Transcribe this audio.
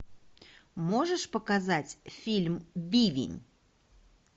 можешь показать фильм бивень